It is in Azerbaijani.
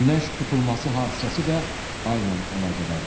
Günəş tutulması hadisəsi də ayla əlaqədardır.